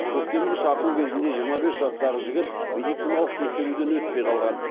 көктемгі шақыру кезінде жиырма бес жастағы жігіт медициналық тексеруден өтпей қалған